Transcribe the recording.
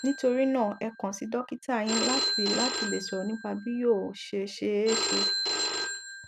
nítorí náà ẹ kàn sí dọkítà yín láti láti lè sọrọ nípa bí yóò ṣe ṣeéṣe